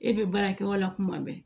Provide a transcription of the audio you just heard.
E bɛ baara kɛ o la kuma bɛɛ